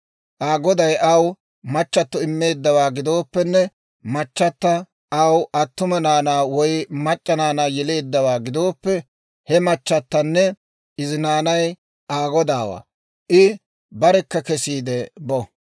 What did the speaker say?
Aa goday aw machato immeeddawaa gidooppenne machchata aw attuma naanaa woy mac'c'a naanaa yeleeddawaa gidooppe, he machatanne izi naanay Aa godaawaa; I barekka kesiide bo.